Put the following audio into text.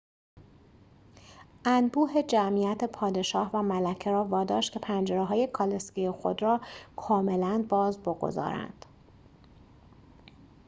انبوه جمعیت پادشاه و ملکه را واداشت که پنجره‌های کالسکه خود را کاملا باز بگذارند